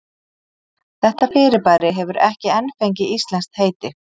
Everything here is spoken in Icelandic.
Þetta fyrirbæri hefur ekki enn fengið íslenskt heiti.